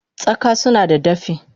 Tsaka sunada dafi